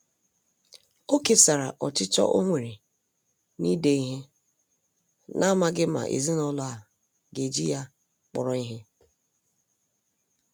O kesara ọchịchọ ọ nwere na-ide ihe, n'amaghi ma ezinụlọ a ga-eji ya kpọrọ ihe.